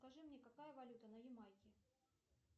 скажи мне какая валюта на ямайке